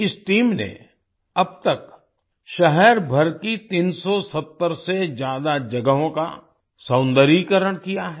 इस टीम ने अब तक शहरभर की 370 से ज्यादा जगहों का सौंदर्यीकरण किया है